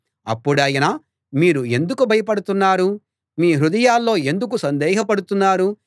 అప్పుడాయన మీరు ఎందుకు భయపడుతున్నారు మీ హృదయాల్లో ఎందుకు సందేహపడుతున్నారు